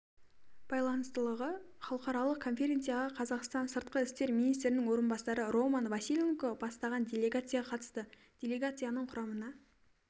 байланыстылығы халықаралық конференцияға қазақстан сыртқы істер министрінің орынбасары роман василенко бастаған делегация қатысты делегацияның құрамына